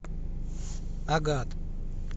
агат